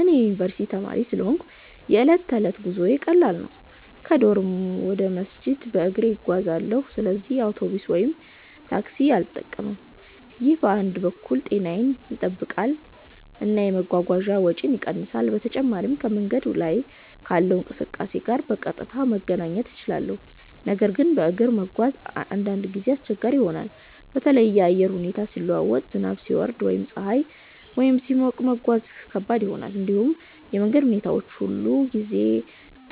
እኔ የዩኒቨርስቲ ተማሪ ስለሆንሁ የዕለት ተዕለት ጉዞዬ ቀላል ነው። ከዶርም ወደ መስጂድ በእግሬ እጓዛለሁ፣ ስለዚህ አውቶቡስ ወይም ታክሲ አልጠቀምም። ይህ በአንድ በኩል ጤናዬን ይጠብቃል እና የመጓጓዣ ወጪን ይቀንሳል። በተጨማሪም ከመንገድ ላይ ካለው እንቅስቃሴ ጋር በቀጥታ መገናኘት እችላለሁ። ነገር ግን በእግር መጓዝ አንዳንድ ጊዜ አስቸጋሪ ይሆናል። በተለይ የአየር ሁኔታ ሲለዋወጥ፣ ዝናብ ሲወርድ ወይም ፀሐይ በጣም ሲሞቅ መጓዝ ከባድ ይሆናል። እንዲሁም የመንገድ ሁኔታ ሁሉ ጊዜ